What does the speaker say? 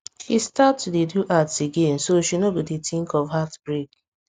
she start to dey do arts again so she no go dey think of heartbreak